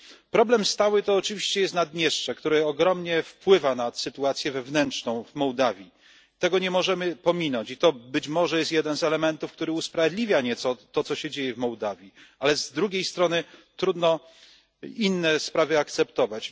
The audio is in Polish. Problem stały to oczywiście Naddniestrze, które ogromnie wpływa na sytuację wewnętrzną w Mołdawii, tego nie możemy pominąć i to być może jest jeden z elementów, który usprawiedliwia nieco to, co się dzieje w Mołdawii, ale z drugiej strony trudno inne sprawy akceptować.